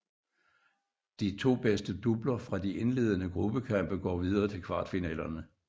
De to bedste doubler fra de indledende gruppekampe går videre til kvartfinalerne